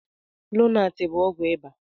Lonat bụ ọgwụ ịbà.